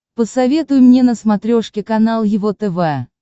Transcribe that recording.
посоветуй мне на смотрешке канал его тв